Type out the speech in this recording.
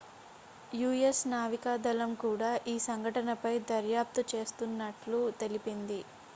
us నావికాదళం కూడా ఈ సంఘటనపై దర్యాప్తు చేస్తున్నట్లు తెలిపింది